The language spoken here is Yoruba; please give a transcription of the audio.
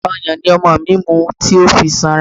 Ọyàn ni ọmọ mi mu tó fi sanra.